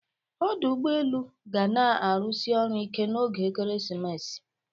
Ọdụ ụgbọ elu ga na-arụsi ọrụ ike n'oge ekeresimesi